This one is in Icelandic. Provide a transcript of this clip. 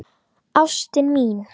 Ástin mín